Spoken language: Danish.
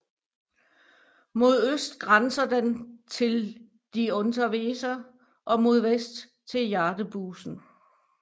Mod øst grænser den til die Unterweser og mod vest til Jadebusen